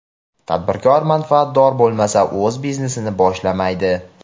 tadbirkor manfaatdor bo‘lmasa o‘z biznesini boshlamaydi.